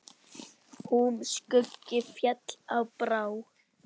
Húm skuggi féll á brá.